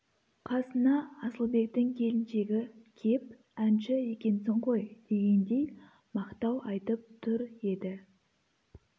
қасына асылбектің келіншегі кеп әнші екенсің ғой дегендей мақтау айтып тұр еді